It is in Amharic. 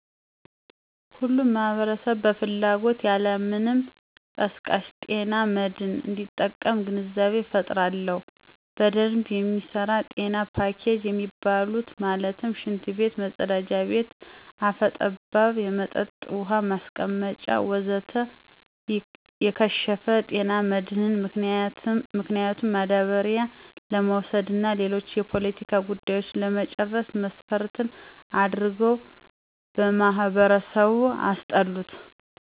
ሁሉም ማህበረሰብ በፍላጎት ያለማንም ቀስቃሽ ጤና መድህን እንዲጠቀም ግንዛቤ እፈጥራለሁ። በደንብ የሚሰራ ጤና ፖኬጅ የሚባሉት ማለትም፦ ሽንት ቤት(መፀዳጃ ቤት)፣ አፈ ጠባብ የመጠጥ ውሀ ማስቀመጫ ወዘተ... የከሸፈ፦ ጤና መድህን ምክንያቱም ማዳበሪያ ለመውሰድ እና ሌሎች የፖለቲካ ጉዳዮችን ለመጨረስ መስፈርት አድርገው በማህበረሰቡ አስጠሉት።